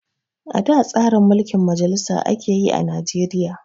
Ada tsarin mulkin majalisa ake yi a Najeriya